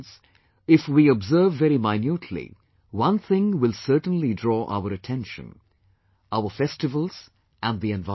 Friends, if we observe very minutely, one thing will certainly draw our attention our festivals and the environment